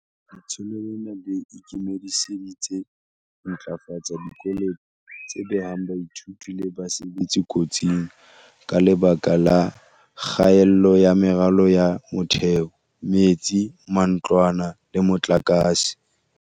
Letsholo lena le ikemiseditse ho ntlafatsa dikolo tse behang baithuti le basebetsi kotsing, ka lebaka la kgaello ya meralo ya motheo, metsi, matlwana le motlakase.